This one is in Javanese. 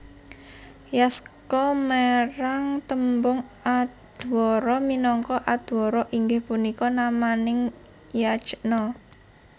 Yaska merang tembung Adhwara minangka Adhwara inggih punika namaning yajna